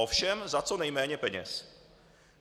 Ovšem za co nejméně peněz.